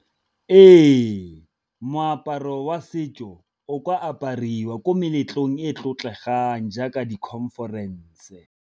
Ee, moaparo wa setso o ka apariwa ko meletlong e e tlotlegang jaaka di-conference.